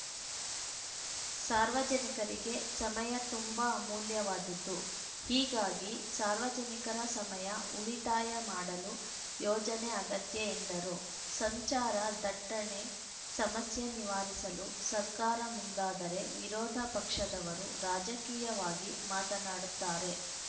ಸಾರ್ವಜನಿಕರಿಗೆ ಸಮಯ ತುಂಬಾ ಅಮೂಲವ್ಯವಾದದ್ದು ಹೀಗಾಗಿ ಸಾರ್ವಜನಿಕರ ಸಮಯ ಉಳಿತಾಯ ಮಾಡಲು ಯೋಜನೆ ಅಗತ್ಯ ಎಂದರು ಸಂಚಾರ ದಟ್ಟಣೆ ಸಮಸ್ಯೆ ನಿವಾರಿಸಲು ಸರ್ಕಾರ ಮುಂದಾದರೆ ವಿರೋಧ ಪಕ್ಷದವರು ರಾಜಕೀಯವಾಗಿ ಮಾತನಾಡುತ್ತಾರೆ